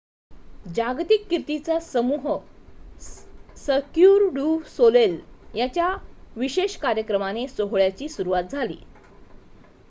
जागतिक कीर्तीचा समूह सर्क्यु ड्यू सोलेल यांच्या विशेष कार्यक्रमाने सोहळ्याची सुरवात झाली